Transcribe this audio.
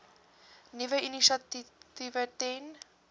nuwe initiatiewe ten